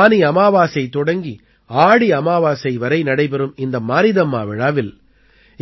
ஆனி அமாவாசை தொடங்கி ஆடி அமாவாசை வரை நடைபெறும் இந்த மாரீதம்மா விழாவில்